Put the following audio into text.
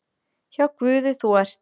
Hjá Guði þú ert.